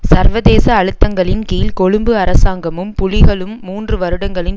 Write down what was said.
சர்வதேச அழுத்தங்களின் கீழ் கொழும்பு அரசாங்கமும் புலிகளும் மூன்று வருடங்களின்